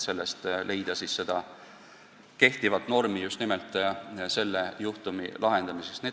Neid tegureid on seega palju.